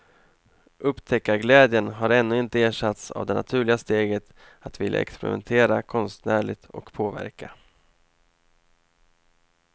Upptäckarglädjen har ännu inte ersatts av det naturliga steget att vilja experimentera konstnärligt och påverka.